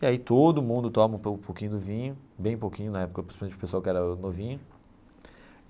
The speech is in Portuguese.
E aí todo mundo toma um pouquinho do vinho, bem pouquinho na época, principalmente para o pessoal que era novinho.